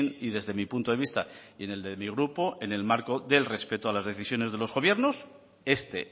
y desde mi punto de vista y en el de mi grupo en el marco del respeto a las decisiones de los gobiernos este